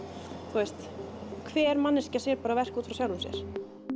þú veist hver manneskja sér bara verk út frá sjálfri sér